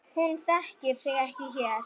Hún þekkir sig ekki hér.